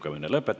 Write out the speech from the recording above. Kõike head!